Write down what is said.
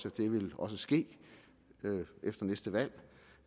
at det vil ske efter næste valg